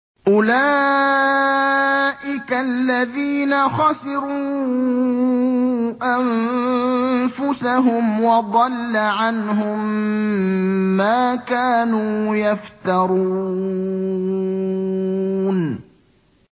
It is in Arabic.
أُولَٰئِكَ الَّذِينَ خَسِرُوا أَنفُسَهُمْ وَضَلَّ عَنْهُم مَّا كَانُوا يَفْتَرُونَ